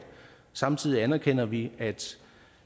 samtidig anerkender vi